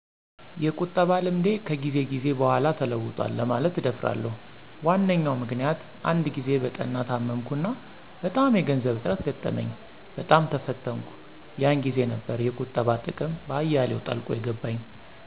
የቁጠባ ልምዴ ከጊዜ ጊዜ በኋላ ተለውጣል ለማለት እደፍራለሁ። ዋነኛው ምክንያት አንድ ጊዜ በጠና ታመምኩና በጣም የገንዘብ እጥረት ገጠመኝ፣ በጣም ተፈተንኩ፥ የን ጊዜ ነበር የቁጠባ ጥቅም በአያሌው ጠልቆ የገባኝ።